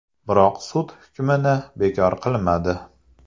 Biroq sud hukmni bekor qilmadi.